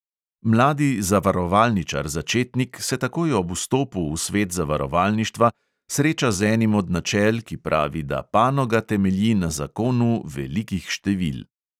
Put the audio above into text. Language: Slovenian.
Mladi zavarovalničar začetnik se takoj ob vstopu v svet zavarovalništva sreča z enim od načel, ki pravi, da panoga temelji na zakonu velikih števil.